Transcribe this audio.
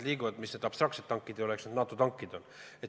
Ega need mingid abstraktsed tankid ei ole, eks need NATO tankid on.